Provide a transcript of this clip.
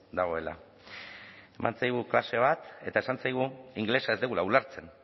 dagoela eman zaigu klase bat eta esan zaigu ingelesa ez dugula ulertzen